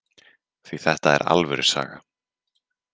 Því þetta er alvöru saga.